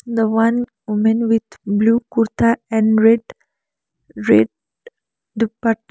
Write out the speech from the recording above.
the one women with blue kurta and red red dupatta.